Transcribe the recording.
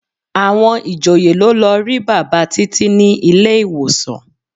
Àwọn ìjòyè ló lọ rí bàbá Títí ní ilé-ìwòsàn.